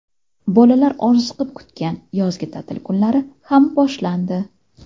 Bolalar orziqib kutgan yozgi ta’til kunlari ham boshlandi.